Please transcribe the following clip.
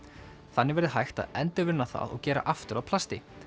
þannig verði hægt að endurvinna það og gera aftur að plasti